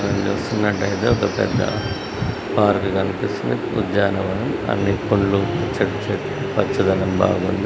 ఇక్కడ చూస్తున్నట్టయితే ఒక పెద్ద పార్కు కనిపిస్తుంది. ఉద్యానవనం అన్ని పులులు చే-చె పచ్చదనం బాగుంది.